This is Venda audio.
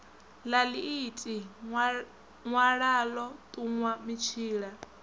ḽa ḽiiti ṅwalaḽo ṱuṅwa mitshila